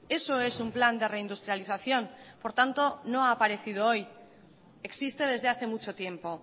eso es un plan de reindustrialización por tanto no ha aparecido hoy existe desde hace mucho tiempo